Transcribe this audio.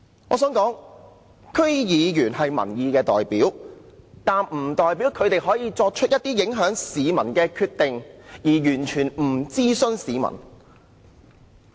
我想說的是，區議員是民意代表，但不代表他們可以作出一些影響市民的決定，而完全不諮詢市民。